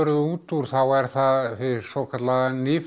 út úr þá er það hið svokallaða